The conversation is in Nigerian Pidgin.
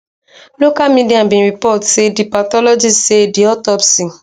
local media bin report say di pathologist say di autopsy